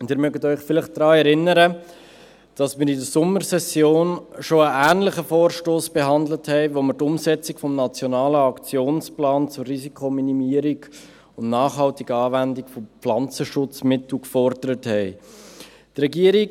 Und Sie können sich vielleicht daran erinnern, dass wir in der Sommersession schon einen ähnlichen Vorstoss behandelt haben, mit dem wir die Umsetzung des nationalen Aktionsplans zur Risikominimierung und nachhaltigen Anwendung von Pflanzenschutzmitteln gefordert haben .